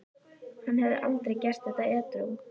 Hann hefði aldrei gert þetta edrú.